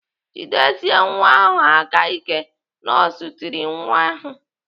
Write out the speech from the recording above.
"Jidiesie nwa ahụ aka ike!" Nọọsụ tiri nne nwa ahụ.